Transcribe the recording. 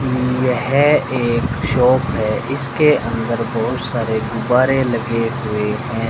यह एक शॉप है इसके अंदर बहुत सारे गुब्बारे लगे हुए हैं।